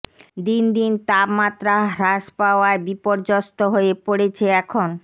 দিন দিন তাপমাত্রা হ্রাস পাওয়ায় বিপর্যস্ত হয়ে পড়েছে এখ